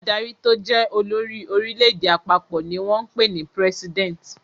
Adarí tó jẹ́ olórí orílẹ̀-èdè àpapọ̀ ni wọ́n ń pè ní president.